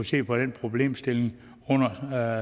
se på den problemstilling under